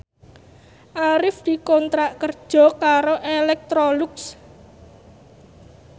Arif dikontrak kerja karo Electrolux